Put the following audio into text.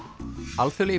alþjóðlegi